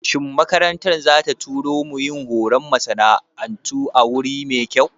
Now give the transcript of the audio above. Shin makarantar za ta tura mu yin horon masana'antu a wuri mai kyau?